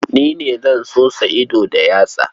Ni ne zan sosa ido da yatsa.